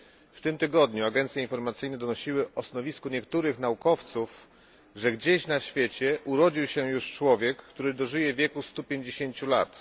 W tym tygodniu agencje informacyjne donosiły o stanowisku niektórych naukowców, że gdzieś na świecie urodził się już człowiek, który dożyje wieku 150 lat.